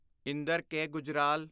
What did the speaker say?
Inder K. Gujral